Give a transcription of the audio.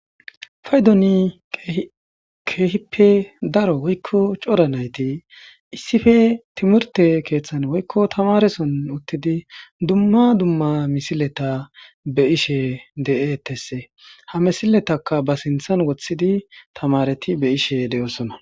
Paydoni keehippe daro woykko cora nayti issippe timirte keeththan woykko tamareson uttidi dumma dumma misileta be'ishe de'etesse. Ha misiletaka ba sinthan woththidi tamareti be'ashe de'oosona.